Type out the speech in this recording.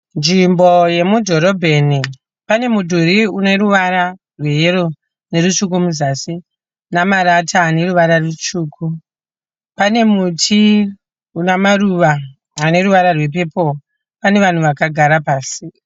Nzvimbo yemudhorobheni, pane mudhuru une ruvara rweyellow nerutsvuku muzasi nemarata ane ruvara rutsvuku. Pane muti une maruva ane ruvara rwepepuru. Pane vanhu vakagara pasi.